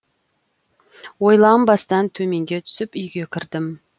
ойланбастан төменге түсіп үйге кірдім